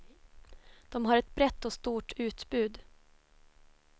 De har ett brett och stort utbud.